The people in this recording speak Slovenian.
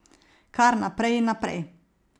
Kar naprej in naprej.